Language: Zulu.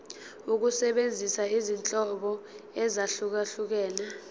ukusebenzisa izinhlobo ezahlukehlukene